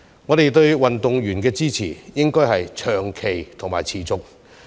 我們對運動員的支持，應該要長期和持續。